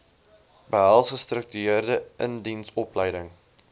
behels gestruktureerde indiensopleiding